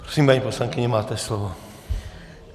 Prosím, paní poslankyně, máte slovo.